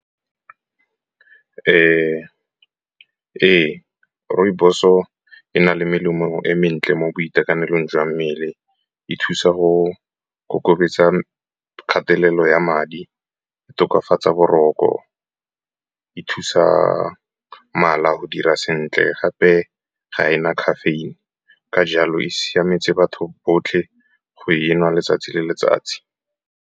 Ee, rooibos-o e na le melemo e mentle mo boitekanelong jwa mmele. E thusa go kobetsa kgatelelo ya madi, ka tokafatsa boroko, e thusa mala go dira sentle. Gape ga ena caffeine, ka jalo e siametse batho botlhe go e nwa letsatsi le letsatsi.